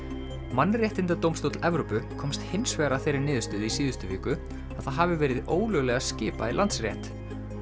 mannréttindadómstóll Evrópu komst hins vegar að þeirri niðurstöðu í síðustu viku að það hafi verið ólöglega skipað í Landsrétt